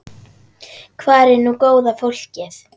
Hvar er nú góða fólkið?